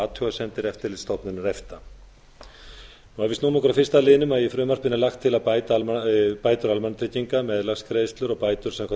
athugasemdir eftirlitsstofnunar efta ef við snúum okkur að fyrsta liðnum er lagt til í frumvarpinu að bætur almannatrygginga meðlagsgreiðslur og bætur samkvæmt